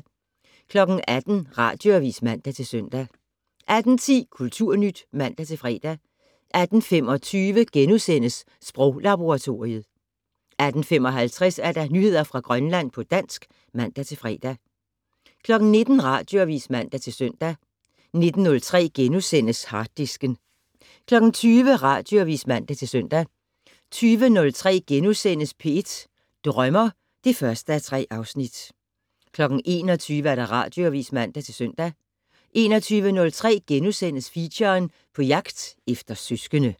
18:00: Radioavis (man-søn) 18:10: Kulturnyt (man-fre) 18:25: Sproglaboratoriet * 18:55: Nyheder fra Grønland på dansk (man-fre) 19:00: Radioavis (man-søn) 19:03: Harddisken * 20:00: Radioavis (man-søn) 20:03: P1 Drømmer (1:3)* 21:00: Radioavis (man-søn) 21:03: Feature: På jagt efter søskende *